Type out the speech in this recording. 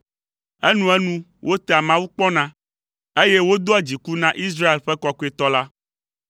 Enuenu wotea Mawu kpɔna, eye wodoa dziku na Israel ƒe Kɔkɔetɔ la.